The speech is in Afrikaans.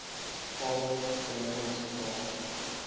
karl bremer hospitaal